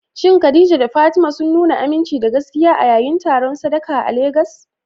Shin Khadija da Fatima sun nuna aminci da gaskiya a yayin taron sadaka a Legas?